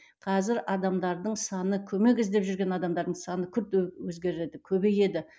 қазір адамдардың саны көмек іздеп жүрген адамдардың саны күрт өзгереді көбейеді